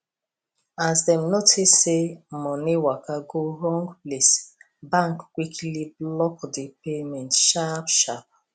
as dem notice say money waka go wrong place bank quickly block the payment sharpsharp